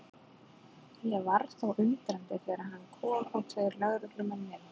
Ég varð þó undrandi þegar hann kom og tveir lögreglumenn með honum.